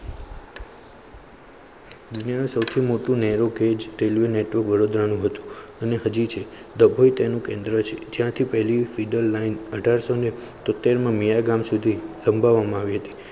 સૌથી મોટું narrow gauge railway network Vadodara નું હતું અને હજી છે તેનું કેન્દ્ર જાતિપલી ફિડર line અઢારશો તોતેર મિયાગામ સુધી સમભાવા માં આવી હતી